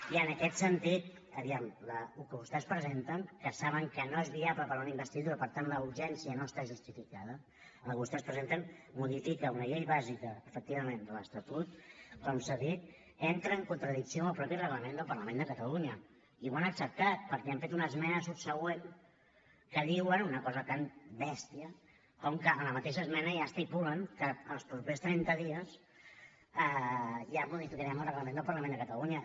i en aquest sentit aviam el que vostès presenten que saben que no és viable per una investidura i per tant la urgència no està justificada el que vostès presenten modifica una llei bàsica efectivament de l’estatut com s’ha dit entra en contradicció amb el mateix reglament del parlament de catalunya i ho han acceptat perquè han fet una esmena subsegüent en què diuen una cosa tan bèstia com que en la mateixa esmena ja estipulen que en els propers trenta dies ja modificarem el reglament el parlament de catalunya